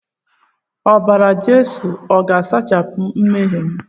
Obara-Jesu o ga-asachapụ nmehiem?